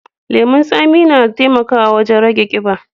Lemun tsami na taimakawa wajen rage ƙiba.